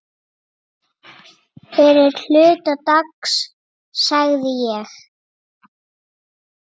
Fyrri hluta dags sagði ég.